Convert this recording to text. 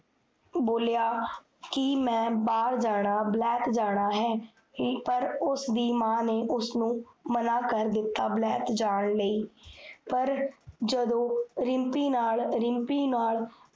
ਬੋਲਿਆ ਕੀ ਮੈਂ ਬਾਹਰ ਜਾਣਾ, ਵਲੈਤ ਜਾਣਾ ਹੈ ਪਰ ਉਸਦੀ ਮਾਂ ਨੇ ਉਸਨੁ ਮਨਾ ਕਰ ਦਿੱਤਾ, ਵਲੈਤ ਜਾਨ ਲਈ ਪਰ ਜਦੋ ਰਿਮ੍ਪੀ ਨਾਲ, ਰਿਮ੍ਪੀ ਨਾਲ